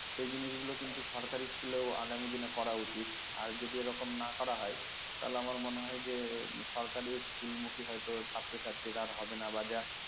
সেই জিনিসগুলো কিন্তু সরকারি school ও আগামী দিনে করা উচিত আর যদি এরকম না করা হয় তাহলে আমার মনে হয় যে সরকারি school মুখী হয়তো ছাত্রছাত্রীরা আর হবে না বা যা